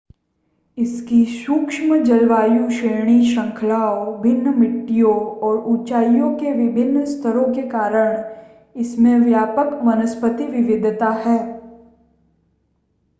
इसकी सूक्ष्म जलवायु श्रेणी श्रृंखलाओं भिन्न मिट्टियों और ऊंचाई के विभिन्न स्तरों के कारण इसमें व्यापक वनस्पति विविधता है